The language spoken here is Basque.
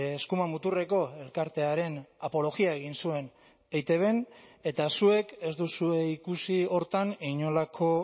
eskuma muturreko elkartearen apologia egin zuen eitbn eta zuek ez duzue ikusi horretan inolako